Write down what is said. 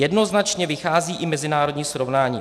Jednoznačně vychází i mezinárodní srovnání.